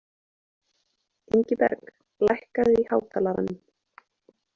Ingiberg, lækkaðu í hátalaranum.